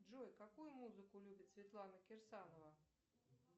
джой какую музыку любит светлана кирсанова